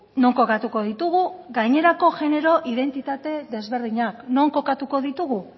non kokatuko ditugu gainerako genero identitate desberdinak non kokatuko ditugu